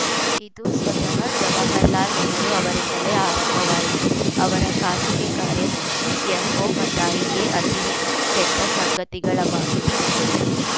ಇದು ಸ್ವತಃ ಜವಾಹರಲಾಲ್‌ ನೆಹರು ಅವರಿಂದಲೇ ಆರಂಭವಾಯಿತು ಅವರ ಖಾಸಗಿ ಕಾರ್ಯದರ್ಶಿ ಎಂಒಮಥಾಯಿಯೇ ಅತಿ ಹೆಚ್ಚು ಕೆಟ್ಟಸಂಗತಿಗಳ ಮಾಹಿತಿ ಮೂಲ